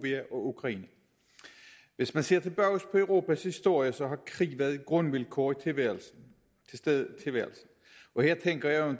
ukraine hvis man ser tilbage på europas historie har krig været et grundvilkår i tilværelsen til stede i tilværelsen og her tænker jeg